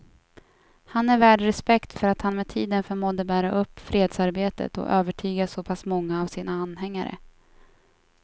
Han är värd respekt för att han med tiden förmådde bära upp fredsarbetet och övertyga så pass många av sina anhängare.